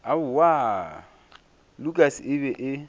aowaa lukas e be e